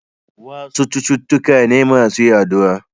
Wasu cututtuka ne masu yaduwa.